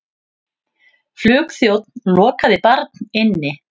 Flugþjónn lokaði barn inni